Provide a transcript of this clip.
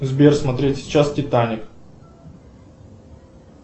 сбер смотреть сейчас титаник